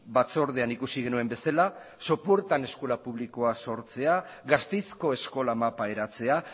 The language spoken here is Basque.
batzordean ikusi genuen bezala sopuertan eskola publikoa sortzea gasteizko eskola mapa eratzea